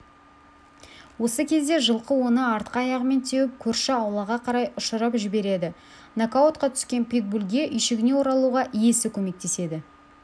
осы кезде жылқы оны артқы аяғымен теуіп көрші аулаға қарай ұшырып жібереді нокаутқа түскен питбульге үйшігіне оралуға иесі көмектеседі